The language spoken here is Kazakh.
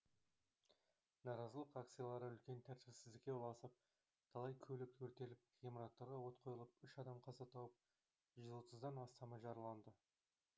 наразылық акциялары үлкен тәртіпсіздікке ұласып талай көлік өртеліп ғимараттарға от қойылып үш адам қаза тауып жүз отыздан астамы жараланды